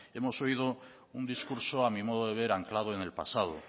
hemos oído un discurso a mi modo de ver anclado en el pasado